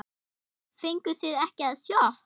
Fenguð þið ekki sjokk?